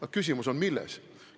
Aga küsimus on milles?